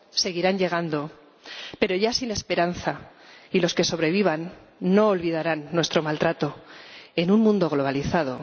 Seguirán llegando, pero ya sin esperanza, y los que sobrevivan no olvidarán nuestro maltrato en un mundo globalizado.